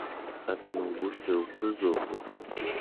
одну бутылку золушки